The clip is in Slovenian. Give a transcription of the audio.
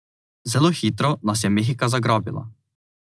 Zelo hitro nas je mehika zagrabila.